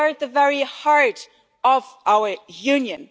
They are at the very heart of our Union.